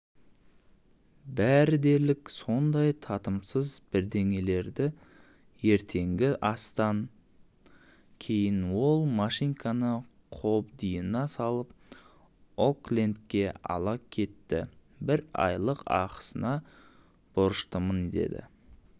бәрі дерлік сондай татымсыз бірдеңелертаңертеңгі астан кейін ол машинканы қобдиына салып оклендке ала кеттібір айлық ақысына борыштымын деді